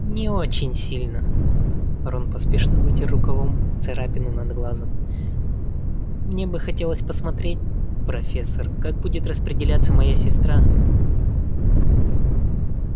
не очень сильно рон поспешно вытер рукавом царапину над глазом мне бы хотелось посмотреть профессор как будет распределяться моя сестра